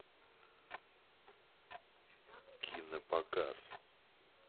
кинопоказ